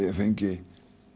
ég fengi